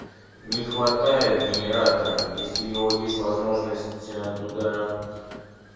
не хватает генератора если его есть возможность туда